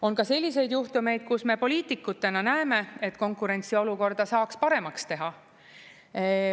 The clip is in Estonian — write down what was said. On ka selliseid juhtumeid, kus me poliitikutena näeme, et konkurentsiolukorda saaks paremaks teha.